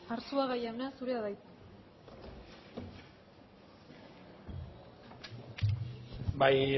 arzuaga jauna zurea da hitza bai